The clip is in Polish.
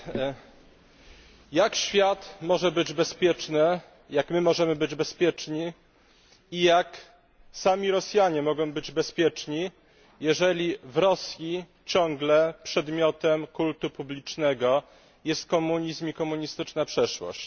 Panie Przewodniczący! Jak świat może być bezpieczny, jak my możemy być bezpieczni i jak sami Rosjanie mogą być bezpieczni, jeżeli w Rosji ciągle przedmiotem kultu publicznego jest komunizm i komunistyczna przeszłość?